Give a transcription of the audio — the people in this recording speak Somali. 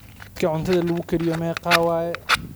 Mitka cunuda lakukariyo meqaa waye?